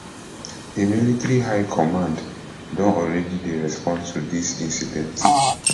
di military high command don already dey respond to dis incident